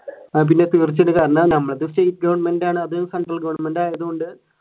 state government ആണ് central government ആയതുകൊണ്ട്